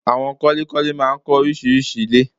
Àwon kọ́lékọ́lé máa ń kọ́ orísirísi ilé